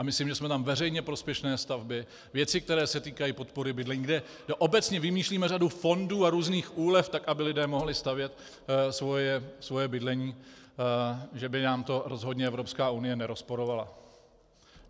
A myslím, že jsme tam veřejně prospěšné stavby, věci, které se týkají podpory bydlení, kde obecně vymýšlíme řadu fondů a různých úlev tak, aby lidé mohli stavět svoje bydlení, že by nám to rozhodně Evropská unie nerozporovala.